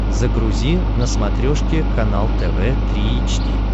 загрузи на смотрешке канал тв три эйч ди